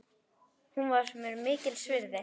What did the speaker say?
Hún var mér mikils virði.